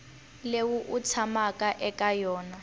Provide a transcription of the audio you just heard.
leyi u tshamaka eka yona